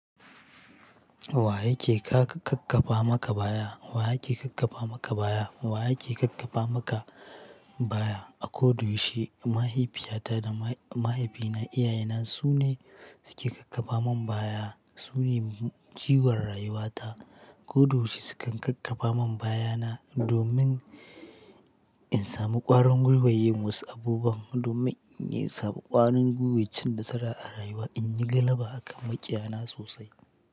Wa yake ka-kakkafa maka baya? Wa yake kakkafa maka baya? Wa yake kakkafa maka baya? A ko da yaushe, mahaifiyata da mahaifina, iyayena su ne suke kakkafa min baya. Su ne jigon rayuwata. Ko da wuce su kan kakkafa min baya na domin in sami ƙwarin guiwan yin wasu abubuwan, domin in yi samu ƙwarin guiwan cin na tsara a rayuwa, in yi galaba a kan maƙiyana sosai.